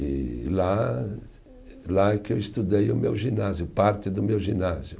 E lá, lá que eu estudei o meu ginásio, parte do meu ginásio.